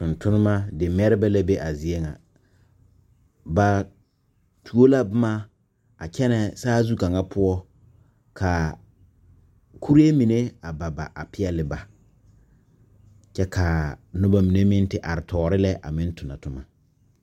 Tontonnema di mɛrebɛ la be a zie ŋa ba tuo la bomma a kyɛnɛ saazu kaŋa poɔ kaa kuree mine a ba ba a peɛɛli ba kyɛ kaa noba mine meŋ te are toore lɛ a meŋ tonɔ tomma.